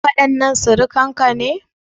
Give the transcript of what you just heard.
Waɗannan surukan ka ne?